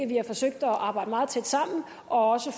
vi har forsøgt at arbejde meget tæt sammen og også